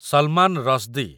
Salman Rushdie